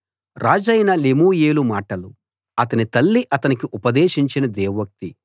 రాజైన లెమూయేలు మాటలు అతని తల్లి అతనికి ఉపదేశించిన దేవోక్తి